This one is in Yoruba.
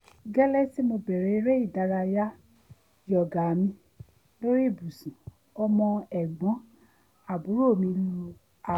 gẹ́lẹ́ tí mo bẹ̀rẹ̀ eré ìdárayá yoga mi lórí ibùsùn ọmọ ẹ̀gbọ́n àbúrò mi lu aago